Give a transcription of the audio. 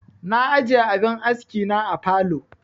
Na ajiye abin aski na a falow